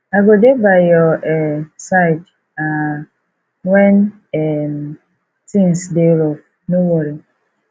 i go dey by your um side um wen um tins dey rough no worry